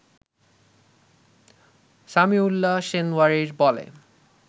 সামিউল্লাহ সেনওয়ারির বলে